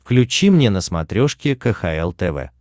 включи мне на смотрешке кхл тв